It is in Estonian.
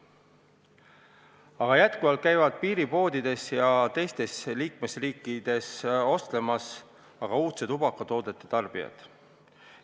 Aga jätkuvalt käivad piiripoodides ja teistes liikmesriikides ostlemas uudsete tubakatoodete tarbijad.